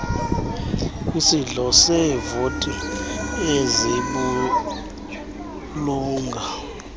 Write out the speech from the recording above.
kwisihlo seevoti ezibulunga